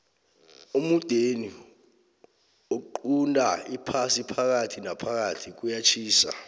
emudeni oqunta iphasi phakathi naphakathi kuyatjhisa